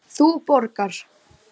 Þú borgar.